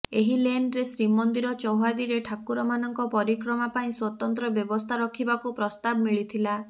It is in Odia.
ଏହି ଲେନ୍ରେ ଶ୍ରୀମନ୍ଦିର ଚୌହଦିରେ ଠାକୁରମାନଙ୍କ ପରିକ୍ରମା ପାଇଁ ସ୍ୱତନ୍ତ୍ର ବ୍ୟବସ୍ଥା ରଖିବାକୁ ପ୍ରସ୍ତାବ ମିଳିଥିଲା